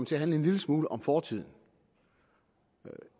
til at handle en lille smule om fortiden